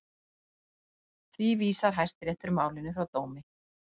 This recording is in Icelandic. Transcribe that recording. Því vísar Hæstiréttur málinu frá dómi